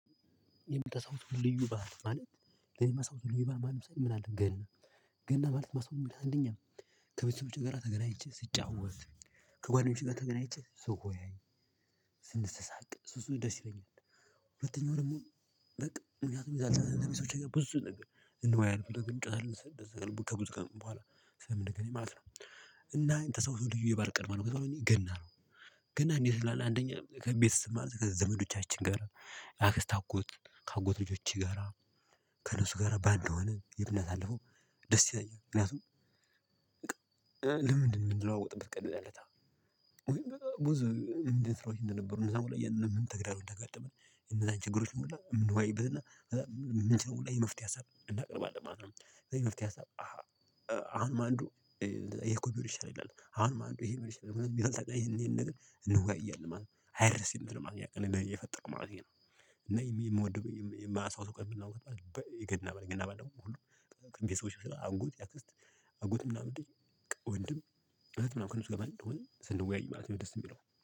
የምታስታውሰው ልዩ ባህል ማለት የማስታውሰው ልዩ ባህል ማለት ምን አለ? ገና ገና ማለት የማስታውሰው አንደኛ ከቤተሰቦቼ ጋር ተገናኝቼ ስጫወት ከጓደኞቼ ጋር ተገናኝቼ ስወያይ ስንሰሳቅ እሱ እሱ ደስ ይለኛል። ሁለተኛው ደግሞ በቃ ምክንያቱም የዛለታ ከቤተሰቦቼ ጋ ብዙ ነገር እንወያያለን እንጫወታለን ከብዙ ቀን በኋላ ስለምንገኝ ማለት ነው። እና እኔ የምታስታውሰው ልዩ የባህል ቀን ማን ነው ከተባለ ገና ነው። ገና እንዴት ትላለህ? አንደኛ ከቤተሰብ ማለት ከዘመዶቻችን ጋር አክስት አጎት ከአጎት ልጆች ጋር ከነሱ ጋር ባንድ ሆነን የምናሳልፈው ደስ ይለኛል። ምክንያቱም ልምድ የምንለዋወጥበት ቀን ነው። የዚያንለታ ወይም ብዙ ስራዎች እንደነበሩ እነዚያን ሁላ ምን ምን ተግዳሮት እንደገጠመን የነዛን ችግሮችን ሁላ ምንወያይበት ና የምንችለውን የመፍትሄ ሀሳብ እናቀርባለን ማለት ነው። ከዚያ የመፍትሔ ሀሳብ አንዱ የኮቢዩርሻል አለኝ አሁን ማን ይሄ ቢውልሽ አለኝ የሚመስል ይሄን ነገር እንዋያለን ማለት ነው። አይደለም ማለት ነው። እኔ የፈጠረው ማለቴ ነው። እና የምወድበት የምናውቀው ይገና በለኝ እና በለኝ ሁሉ ቅንብ የሰዎች ስራ አጎት ያክስት አጎት ምናምን ወንድም እህት ምናምን ከነሱ ጋር በአንድ ስንወያይ ማለት ነው ደስ የሚለው